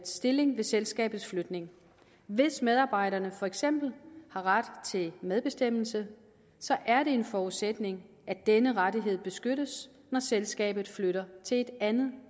stilling ved selskabets flytning hvis medarbejderne for eksempel har ret til medbestemmelse er det en forudsætning at denne rettighed beskyttes når selskabet flytter til et andet